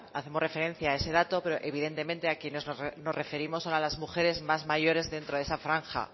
hacemos referencia a ese dato pero evidentemente a quienes nos referimos son a las mujeres más mayores dentro de esa franja